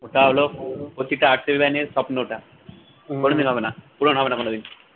ওটা হলো স্বপ্ন টা, কোনোদিন হবেনা, পূরণ হবেনা কোনোদিন